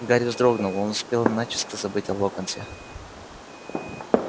гарри вздрогнул он успел начисто забыть о локонсе